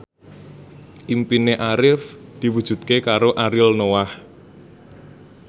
impine Arif diwujudke karo Ariel Noah